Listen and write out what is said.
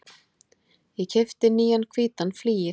Ég keypti nýjan hvítan flygil.